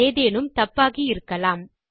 எதேனும் தப்பாகியிருக்கலாம்